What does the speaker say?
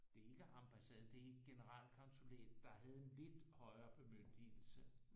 Det er ikke ambassaden det er generel konsulent der havde en lidt højere bemyndigelse